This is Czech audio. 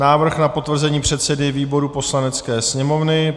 Návrh na potvrzení předsedy výboru Poslanecké sněmovny